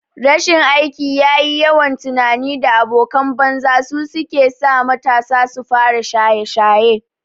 Rashin aikin yi, yawan tunani da abokan banza su kesa matasa sufara shaye shaye